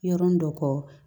Yɔrɔnin dɔ kɔ